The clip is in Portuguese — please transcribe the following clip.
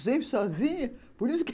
Sempre sozinha, por isso que...